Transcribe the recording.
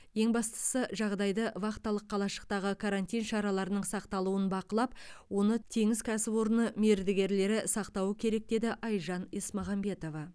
ең бастысы жағдайды вахталық қалашықтағы карантин шараларының сақталуын бақылап оны теңіз кәсіпорыны мердігерлері сақтауы керек деді айжан есмағамбетова